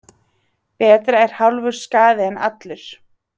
Betra er hálfur skaði en allur.